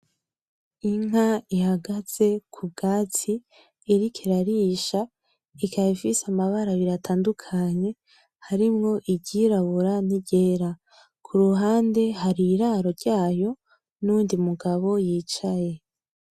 Inka ihagaze ku bwatsi iriko irarisha ikaba ifise amabara abiri atandukanye harimwo iryirabura niryera, kuruhande hari iraro ryayo nuyundi mugabo yicaye.